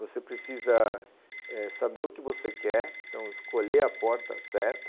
Você precisa saber eh saber o que você quer, então escolher a porta certa.